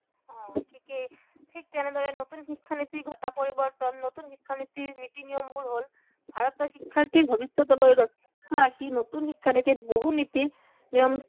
অ ঠিকেই, ঠিক তেনেদৰে নতুন শিক্ষানীতিত ঘটা পৰিবৰ্তন, নতুন শিক্ষানীতিৰ নীতি নিয়মবোৰ হল ভাৰতৰ শিক্ষাৰ্থীৰ ভৱিষ্য়তলৈ লক্ষ্য় ৰাখি নতুন শিক্ষানীতিত বহুত নীতি